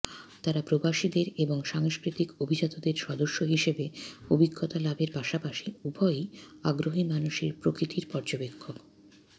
তারা প্রবাসীদের এবং সাংস্কৃতিক অভিজাতদের সদস্য হিসাবে অভিজ্ঞতা লাভের পাশাপাশি উভয়ই আগ্রহী মানুষের প্রকৃতির পর্যবেক্ষক